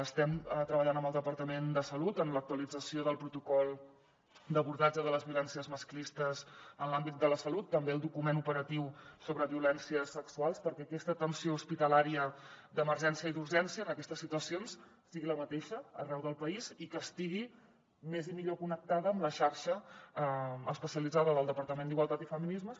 estem treballant amb el departament de salut en l’actualització del protocol d’abordatge de les violències masclistes en l’àmbit de la salut també en el document operatiu sobre violències sexuals perquè aquesta atenció hospitalària d’emergència i d’urgència en aquestes situacions sigui la mateixa arreu del país i estigui més i millor connectada amb la xarxa especialitzada del departament d’igualtat i feminismes